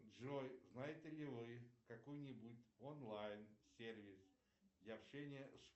джой знаете ли вы какой нибудь онлайн сервис для общения